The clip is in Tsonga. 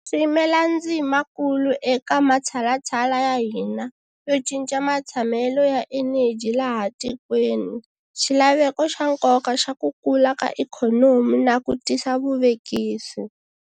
Swi yimela ndzima kulu eka matshalatshala ya hina yo cinca matshamelo ya eneji laha tikweni, xila veko xa nkoka xa ku kula ka ikhonomi na ku tisa vuvekisi.